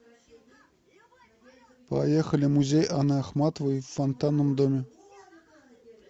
поехали музей анны ахматовой в фонтанном доме